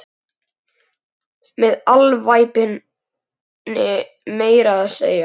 Með alvæpni meira að segja!